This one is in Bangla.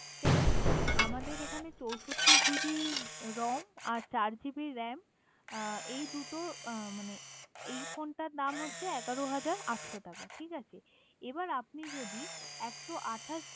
দেখুন আমাদের এখানে চৌষট্টি জিবি ROM আর চার জিবি RAM এই দুটোর মানে এই ফোনটার দাম হচ্ছে এগারো হাজার আটশো টাকা, ঠিক আছে এবার আপনি যদি একশো আঠাশ